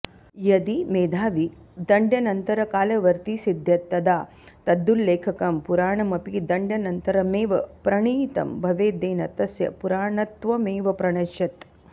यदि मेधावी दण्ड्यनन्तरकालवर्ती सिध्येत् तदा तदुल्लेखकं पुराणमपि दण्ड्यनन्तरमेव प्रणीतं भवेद्येन तस्य पुराणत्वमेव प्रणश्येत्